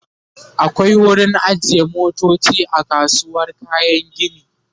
akwai wurin ajiye motoci a kasuwar kayan gini